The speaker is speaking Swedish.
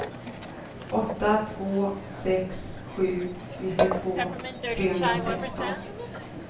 åtta två sex sju nittiotvå trehundrasexton